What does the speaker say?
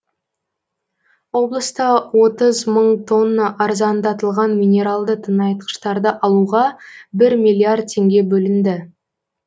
облыста отыз мың тонна арзандатылған минералды тыңайтқыштарды алуға бір миллиард теңге бөлінді